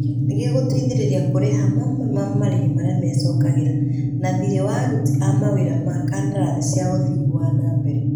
Nĩ gĩgũteithĩrĩria kũrĩha mamwe ma marĩhi maria mecokagĩra, na thirĩ wa aruti a mawĩra ma kandarathi cia ũthii wa na mbere.